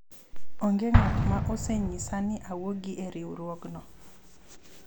onge ng'at ma osenyisa ni awuogi e riwruogno